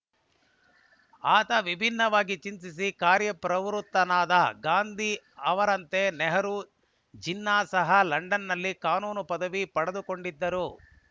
ಆತ ವಿಭಿನ್ನವಾಗಿ ಚಿಂತಿಸಿ ಕಾರ್ಯಪ್ರವೃತ್ತನಾದ ಗಾಂಧಿ ಅವರಂತೆ ನೆಹರು ಜಿನ್ನಾ ಸಹ ಲಂಡನ್‌ನಲ್ಲಿ ಕಾನೂನು ಪದವಿ ಪಡೆದುಕೊಂಡಿದ್ದರು